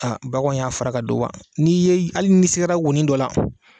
A baganw y'a ka don wa n'i ye hali n'i sigara wonin dɔ la.